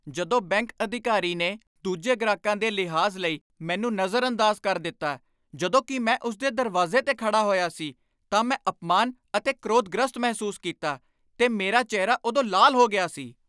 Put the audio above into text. ਜਦੋਂ ਬੈਂਕ ਅਧਿਕਾਰੀ ਨੇ ਦੂਜੇ ਗ੍ਰਾਹਕਾਂ ਦੇ ਲਿਹਾਜ਼ ਲਈ ਮੈਨੂੰ ਨਜ਼ਰਅੰਦਾਜ਼ ਕਰ ਦਿੱਤਾ ਜਦੋਂ ਕਿ ਮੈਂ ਉਸ ਦੇ ਦਰਵਾਜ਼ੇ 'ਤੇ ਖੜਾ ਹੋਇਆ ਸੀ ਤਾਂ ਮੈਂ ਅਪਮਾਨ ਅਤੇ ਕ੍ਰੋਧਗ੍ਰਸਤ ਮਹਿਸੂਸ ਕੀਤਾ, ਤੇ ਮੇਰਾ ਚਿਹਰਾ ਉਦੋਂ ਲਾਲ ਹੋ ਗਿਆ ਸੀ।